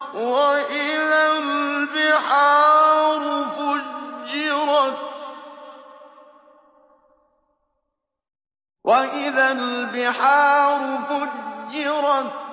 وَإِذَا الْبِحَارُ فُجِّرَتْ